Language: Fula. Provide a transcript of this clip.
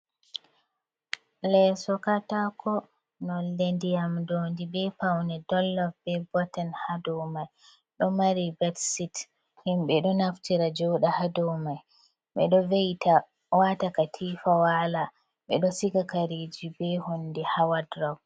Leeso katako nonde ndiyam dondi be paune dollove be botin hadomai, do mari betsit, himbe do naftira joda hadomai, bedo weita wata katifa wala bedo shiga kariji be hondi ha waldrok.